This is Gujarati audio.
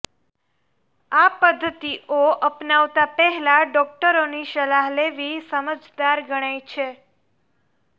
આ પદ્ધતિઓ અપનાવતા પહેલા ડોકટરોની સલાહ લેવી સમજદાર ગણાય છે